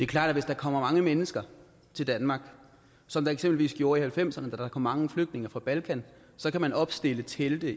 klart at hvis der kommer mange mennesker til danmark som der eksempelvis gjorde i nitten halvfemserne da der kom mange flygtninge fra balkan så kan man opstille telte